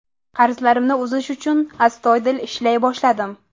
Qarzlarimni uzish uchun astoydil ishlay boshladim.